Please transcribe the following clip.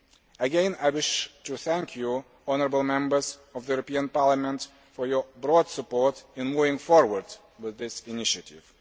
Again, I wish to thank you, honourable Members of the European Parliament, for your broad support in moving forward with this initiative.